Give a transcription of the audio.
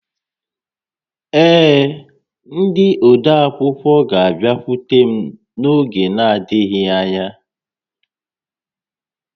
Ee, ndị odeakwụkwọ ga-abịakwute m n'oge adịghị ányá